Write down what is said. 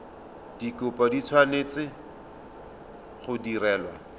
dikopo di tshwanetse go direlwa